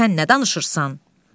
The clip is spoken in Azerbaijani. Sən nə danışırsan?